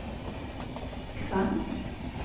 Kvam